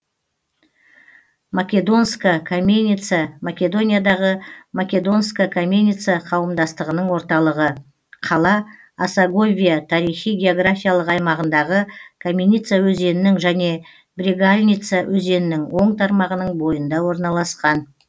македонска каменица македониядағы македонска каменица қауымдастығының орталығы қала осоговия тарихи географиялық аймағындағы каменица өзенінің және брегалница өзенінің оң тармағының бойында орналасқан